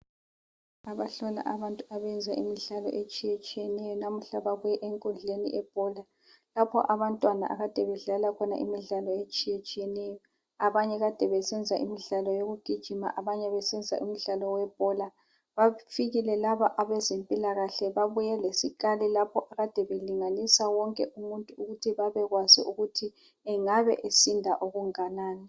Abahlola abantu abenza imidlalo etshiyatshiyeneyo namhla babuye enkundleni yebhola. Lapho abantwana akade bedlala khona imidlalo etshiyetshiyeneyo. Abanye kade besenza imidlalo yokugijima, abanye besenza imidlalo webhola. Bafikile labo abezempilakahle babuye lesikali lapho kade belinganisa wonke umuntu ukuthi babekwazi ukuthi engabe esinda okunganani.